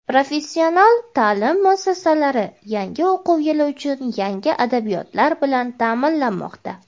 Professional ta’lim muassasalari yangi o‘quv yili uchun yangi adabiyotlar bilan ta’minlanmoqda.